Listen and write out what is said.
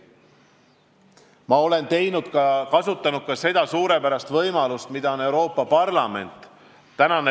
Ma olen kasutanud ka seda suurepärast võimalust, mida on pakkunud Euroopa Parlament.